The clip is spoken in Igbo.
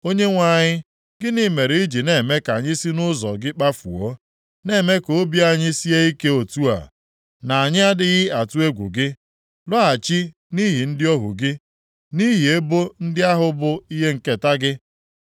Onyenwe anyị, gịnị mere i ji na-eme ka anyị si nʼụzọ gị kpafuo na-eme ka obi anyị sie ike otu a, na anyị adịghị atụ egwu gị? Lọghachi nʼihi ndị ohu gị, nʼihi ebo ndị ahụ bụ ihe nketa gị.